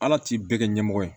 Ala t'i bɛɛ kɛ ɲɛmɔgɔ ye